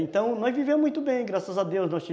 Então, nós vivemos muito bem, graças a Deus. Nós